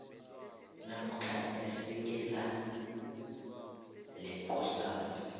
namkha isekela lekosana